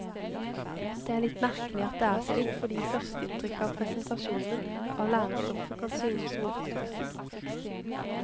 Det er litt merkelig at det er slik, fordi førsteinntrykket av presentasjonen av lærestoffet kan synes rotete.